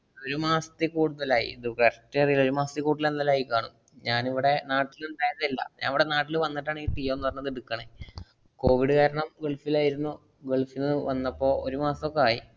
ഒരു മാസത്തില്‍ കൂടുതലായി. ഇത് first ഒരു മാസത്തില്‍ കൂടുതലെന്തായാലും ആയിക്കാണും. ഞാനിവിടെ നാട്ടില്‍ ഉണ്ടായിരുന്നില്ല. ഞാനിവിടെ നാട്ടില്‍ വന്നിട്ടാണ് ഈ ജിയോന്ന് പറഞ്ഞത് എടുക്കണേ. കോവിഡ് കാരണം ഗള്‍ഫിലായിരുന്നു. ഗള്‍ഫീന്ന് വന്നപ്പോ ഒരു മാസൊക്കെ ആയി.